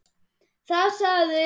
Þar sagði hann